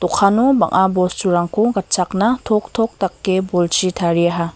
dokano bang·a bosturangko gatchakna toktok dake bolchi tariaha.